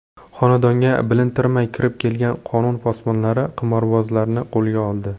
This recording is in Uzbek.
Xonadonga bilintirmay kirib kelgan qonun posbonlari qimorbozlarni qo‘lga oldi.